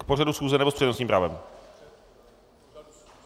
K pořadu schůze, nebo s přednostním právem?